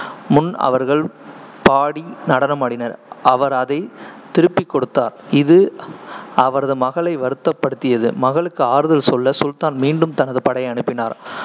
முன் அவர்கள் பாடி நடனமாடினர், அவர் அதைத் திருப்பிக் கொடுத்தார், இது அவரது மகளை வருத்தப்படுத்தியது. மகளுக்கு ஆறுதல் சொல்ல, சுல்தான் மீண்டும் தனது படையை அனுப்பினார்,